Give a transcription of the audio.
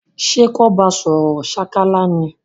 Sé kan ba sòrò sákálá ni?